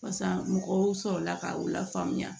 Barisa mɔgɔw sɔrɔla k'aw lafaamuya